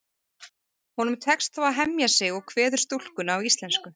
Honum tekst þó að hemja sig og kveður stúlkuna á íslensku.